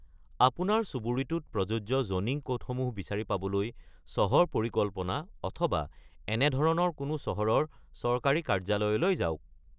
আপোনাৰ চুবুৰীটোত প্ৰযোজ্য জ'নিং ক'ডসমূহ বিচাৰি পাবলৈ চহৰ পৰিকল্পনা অথবা এনেধৰণৰ কোনো চহৰৰ চৰকাৰী কাৰ্যালয়লৈ যাওক।